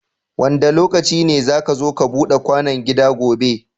Wanda lokaci ne zaka zo ka Buda kwano gida gobe